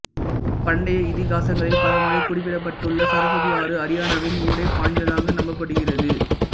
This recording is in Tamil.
பண்டைய இதிகாசஙகளில் பலமுறை குறிப்பிடப்பட்டுள்ள சரஸ்வதி ஆறு அரியானாவின் ஊடே பாய்ந்ததாக நம்பப்படுகிறது